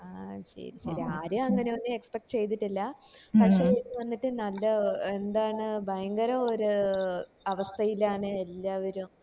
ആഹ് ശെരി ഇത് ആര് അങ്ങനൊന്നും expect ചെയ്തിട്ടില്ല വന്നിട്ട് നല്ല എന്താണ് ഭയങ്കര ഒരു ഏർ അവസ്ഥയിലാണ് എല്ലാവരും